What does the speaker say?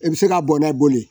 I bɛ se ka bɔn n'a boli ye